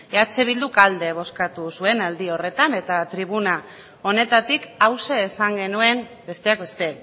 eh bilduk alde bozkatu zuen aldi horretan eta tribuna honetatik hauxe esan genuen besteak beste